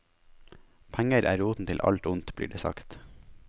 Penger er roten til alt ondt, blir det sagt.